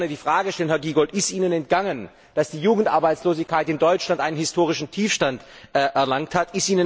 Jetzt möchte ich gern die Frage stellen, Herr Giegold Ist Ihnen entgangen, dass die Jugendarbeitslosigkeit in Deutschland einen historischen Tiefstand erlangt hat?